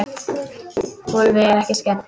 Úlfi er ekki skemmt.